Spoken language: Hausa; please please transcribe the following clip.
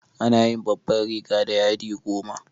Ana yin babban riga da yadi goma.